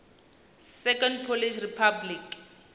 second polish republic